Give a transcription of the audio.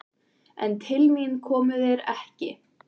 En til mín komu þeir ekki.